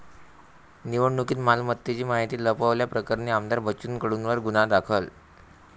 निवडणुकीत मालमत्तेची माहिती लपवल्याप्रकरणी आमदार बच्चू कडूंवर गुन्हा दाखल